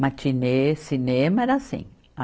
Matinê, cinema, era assim.